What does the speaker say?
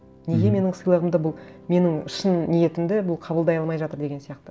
неге менің сыйлығымды бұл менің шын ниетімді бұл қабылдай алмай жатыр деген сияқты